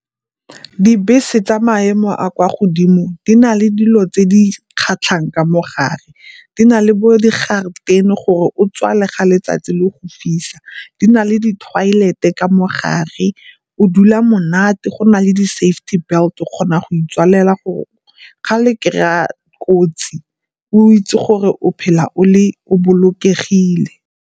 Dibese tsa maemo a kwa godimo di na le dilo tse di kgatlhang ka mogare. Di na le bo di garedeni gore o tswale ga letsatsi le go fisa. Di na le di toilet-e ka mo gare, o dula monate. Go na le di safety belt o kgona go itswalela go ga le kry-a kotsi o itse gore o phela o le o bolokegile.